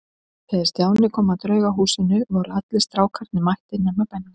Þegar Stjáni kom að Draugahúsinu voru allir strákarnir mættir nema Benni.